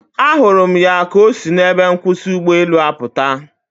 A hụrụ m ya ka osi na ebe nkwusi ụgbọelu aputa